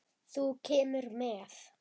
Þú kemur með.